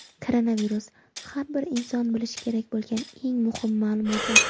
Koronavirus: Har bir inson bilishi kerak bo‘lgan eng muhim ma’lumotlar.